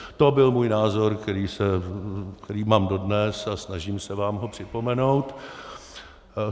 To byl můj názor, který mám dodnes, a snažím se vám ho připomenout.